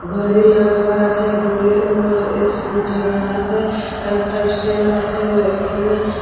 ঘরে লাইগা আছে। ঘরে ম এস চৌরাহাতে একটা স্ট্যান্ড আছে। এখানে --